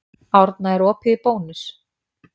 Árna, er opið í Bónus?